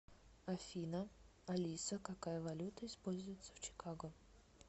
афина алиса какая валюта используется в чикаго